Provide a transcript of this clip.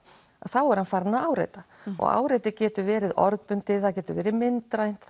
þá er hann farinn að áreita og áreiti getur verið orðbundið það getur verið myndrænt